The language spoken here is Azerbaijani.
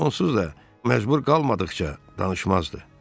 Onsuz da məcbur qalmadıqca danışmazdı.